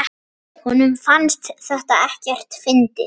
Honum fannst þetta ekkert fyndið.